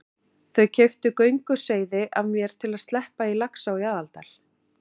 Þau keyptu gönguseiði af mér til að sleppa í Laxá í Aðaldal.